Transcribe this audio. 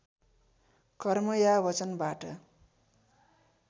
कर्म या वचनबाट